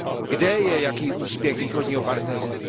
Kde je jaký úspěch Východního partnerství?